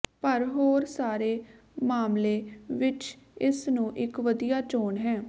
ਪਰ ਹੋਰ ਸਾਰੇ ਮਾਮਲੇ ਵਿਚ ਇਸ ਨੂੰ ਇਕ ਵਧੀਆ ਚੋਣ ਹੈ